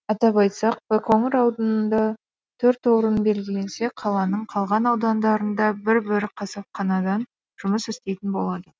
атап айтсақ байқоңыр ауданында төрт орын белгіленсе қаланың қалған аудандарында бір бір қасапқанадан жұмыс істейтін болады